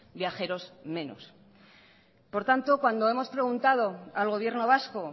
viajeros menos por tanto cuando hemos preguntado al gobierno vasco